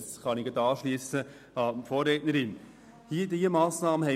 Diesbezüglich kann ich am Votum meiner Vorrednerin anschliessen.